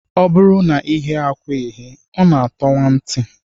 Ọ bụrụ na ị ghee akwa eghee, ọ na-atọwa ntị